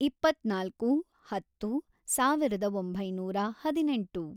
ಇಪ್ಪತ್ನಾಲ್ಕು, ಹತ್ತು, ಸಾವಿರದ ಒಂಬೈನೂರ ಹದಿನೆಂಟು